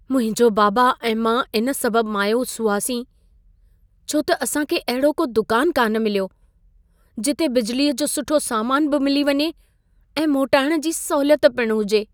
मुंहिंजो बाबा ऐं मां इन सबबु मायूस हुआसीं, छो त असांखे अहिड़ो को दुकान कान मिल्यो, जिते बिजिलीअ जो सुठो सामान बि मिली वञे ऐं मोटाइण जी सहूलियत पिण हुजे।